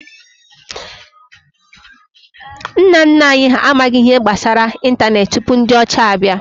Nna nna anyi ha amaghi ihe gbasara ịntanetị tupu ndi ocha bia